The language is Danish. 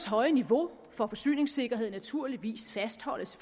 høje niveau for forsyningssikkerhed naturligvis fastholdes